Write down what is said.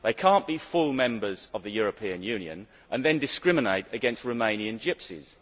They cannot be full members of the European Union and then discriminate against Romanian gypsies.